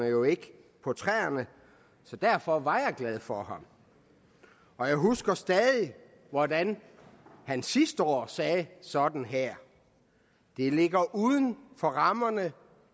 jo ikke på træerne så derfor var jeg glad for ham og jeg husker stadig hvordan han sidste år sagde sådan her det ligger uden for rammerne